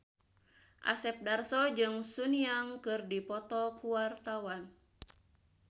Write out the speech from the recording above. Asep Darso jeung Sun Yang keur dipoto ku wartawan